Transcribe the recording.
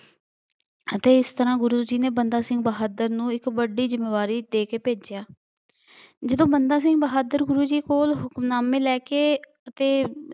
ਅਤੇ ਇਸ ਤਰ੍ਹਾਂ ਗੁਰੂ ਜੀ ਨੇ ਬੰਦਾ ਸਿੰਘ ਬਹਾਦਰ ਨੂੰ ਇੱਕ ਵੱਡੀ ਜ਼ਿੰਮੇਵਾਰੀ ਦੇ ਕੇ ਭੇਜਿਆ ਜਦੋਂ ਬੰਦਾ ਸਿੰਘ ਬਹਾਦਰ ਗੁਰੂ ਜੀ ਕੋਲ ਹੁਕਮਨਾਮੇ ਲੈ ਕੇ ਅਤੇ